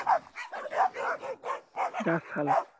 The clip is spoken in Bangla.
যাহ সালা